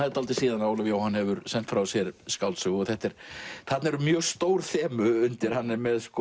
er dálítið síðan Ólafur Jóhann hefur sent frá sér skáldsögu þarna eru mjög stór þemu undir hann er með